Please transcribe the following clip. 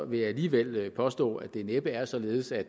vil jeg alligevel påstå at det næppe er således at